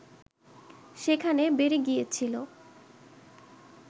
সেখানে বেড়ে গিয়েছিল